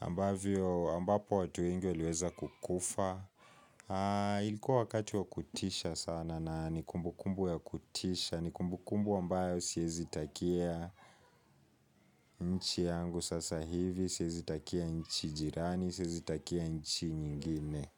ambavyo ambapo watu wengi waliweza kukufa Ilikuwa wakati wa kutisha sana na ni kumbukumbu ya kutisha ni kumbukumbu ambayo siezi takia nchi yangu sasa hivi Siezi takia nchi jirani Siezi takia nchi nyingine.